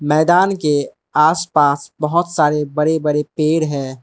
मैदान के आस पास बहोत सारे बड़े बड़े पेड़ है।